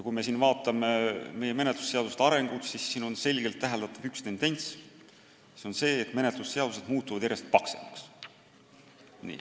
Kui me vaatame meie menetlusseaduste arengut, siis selgelt on täheldatav üks tendents: see on tõsiasi, et menetlusseadused muutuvad järjest paksemaks.